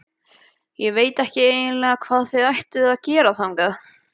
Ég veit eiginlega ekki hvað þér ættuð að gera þangað.